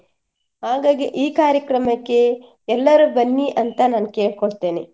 ಹಾಗಾಗಿ ಈ ಕಾರ್ಯಕ್ರಮಕ್ಕೆ ಎಲ್ಲರೂ ಬನ್ನಿ ಅಂತ ನಾನ್ ಕೇಳ್ಕೊಳ್ತೇನೆ.